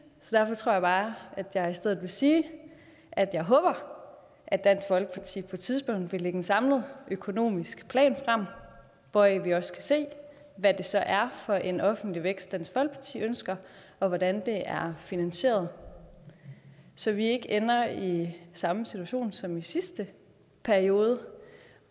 så derfor tror jeg bare at jeg i stedet vil sige at jeg håber at dansk folkeparti på et tidspunkt vil lægge en samlet økonomisk plan frem hvoraf vi også kan se hvad det så er for en offentlig vækst dansk folkeparti ønsker og hvordan det er finansieret så vi ikke ender i samme situation som i sidste periode